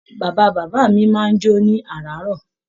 Bàbá bàbá mí máa n jo ní araarọ.